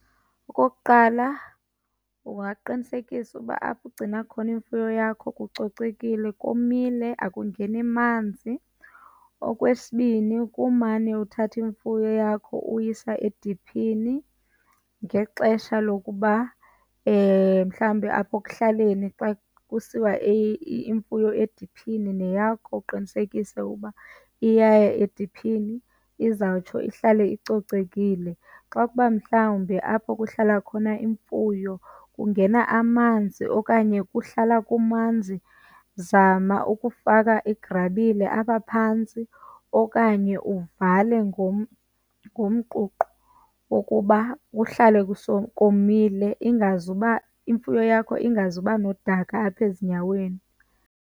Okokuqala, ungaqinisekisa uba apho ugcina khona imfuyo yakho kucocekile, komile, akungeni manzi. Okwesibini, kumane uthatha imfuyo yakho uyisa ediphini ngexesha lokuba, mhlawumbi apho ekuhlaleni xa kusiwa imfuyo ediphini neyakho uqinisekise uba iyaya ediphini izawutsho ihlale icocekile. Xa kuba mhlawumbi apho kuhlala khona imfuyo kungena amanzi okanye kuhlala kumanzi, zama ukufaka igrabile apha phantsi okanye uvale ngomququ wokuba kuhlale komile ingazuba, imfuyo yakho ingazuba nodaka apha ezinyaweni.